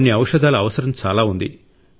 కొన్ని ఔషధాల అవసరం చాలా ఉంది